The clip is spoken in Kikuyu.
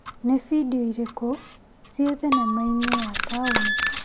Nĩ bindiũ irĩkũ ci thinema-inĩ ya taũni ?